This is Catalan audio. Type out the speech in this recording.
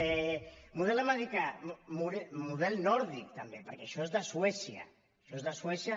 model americà model nòrdic també perquè això és de suècia això és de suècia